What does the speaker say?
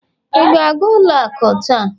ị ka ga-aga ụlọ akụ taa?